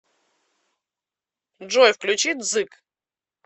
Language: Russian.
джой включи дзык